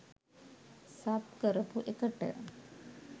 sub කරපු එකට